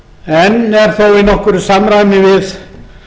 en er þó í nokkru samræmi við